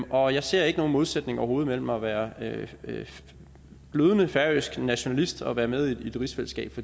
og jeg ser ikke nogen modsætning overhovedet mellem at være glødende færøsk nationalist og være med i et rigsfællesskab